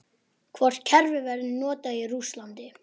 Hvort kerfið verður notað í Rússlandi?